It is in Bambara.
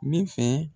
Ne fɛ